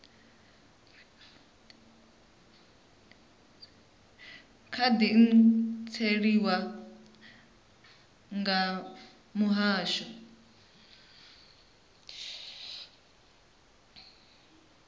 kha di khantseliwa nga muhasho